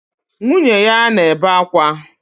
Nwunye ya na-ebe akwa.